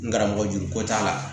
N karamɔgɔ juru ko t'a la